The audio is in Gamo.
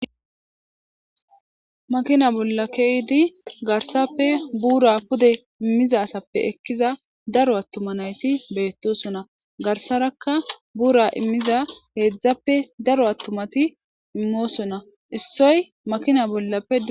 makina bolla keydi garsappe buura pude immiza asappe ekkiza daro attuma nayti beettosonna garsarakka buura immiza heedzdzappe daro attumati immoosonna issoy makina bollappe